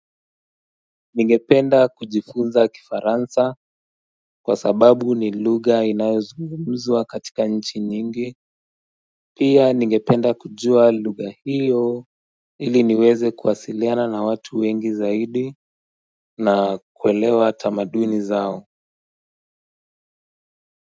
Ningependa kujifunza Kifaransa kwa sababu ni lugha inayozungumzwa katika nchi nyingi pia ningependa kujua lugha hiyo ili niweze kuwasiliana na watu wengi zaidi na kuelewa tamaduni zao.